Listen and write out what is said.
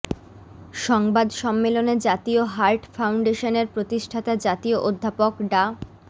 সংবাদ সম্মেলনে জাতীয় হার্ট ফাউন্ডেশনের প্রতিষ্ঠাতা জাতীয় অধ্যাপক ডা